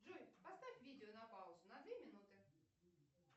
джой поставь видео на паузу на две минуты